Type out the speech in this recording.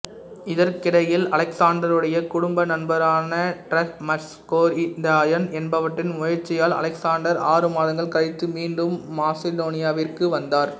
இதற்கிடையில் அலெக்ஸாண்டருடைய குடும்ப நண்பரான டிமரட்டஸ்கோரிந்தியான் என்பவற்றின் முயற்சியால் அலெக்ஸாண்டர் ஆறு மாதங்கள் கழித்து மீண்டும் மாசிடோனியாவிற்கு வந்தார்